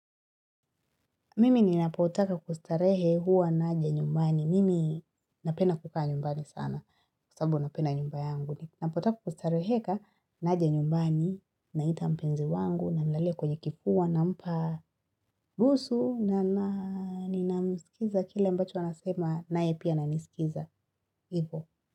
Mimi ninapotaka kustarehe huwa naja nyumbani Mimi napenda kukaa nyumbani sana kwasabu napenda nyumba yangu Napotaka kustareheka naja nyumbani naita mpenzi wangu nilale kwenye kifua nampa busu na ninamsikiza kile mbacho anasema nae pia ananiskiza hivo.